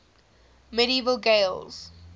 medieval gaels